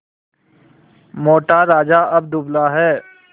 मोटा राजा अब दुबला है